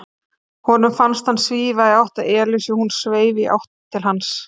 Honum fannst hann svífa í átt að Elísu og hún sveif í átt til hans.